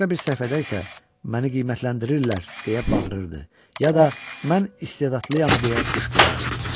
Başqa bir səhifədə isə: "Məni qiymətləndirirlər!" deyə bağırırdı, ya da: "Mən istedadlıyam!" deyə qışqırırdı.